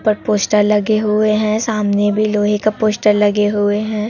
ऊपर पोस्टर लगे हुए हैं सामने भी लोहे के पोस्टर लगे हुए हैं।